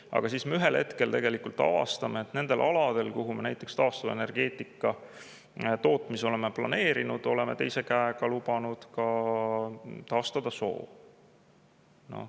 Aga ühel hetkel avastame, et nendel aladel, kuhu me mingi taastuvenergia tootmise oleme planeerinud, oleme teise käega lubanud taastada soo.